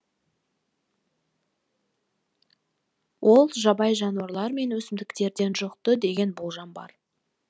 ол жабайы жануарлар мен өсімдіктерден жұқты деген болжам бар